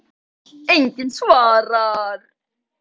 Enginn svarar.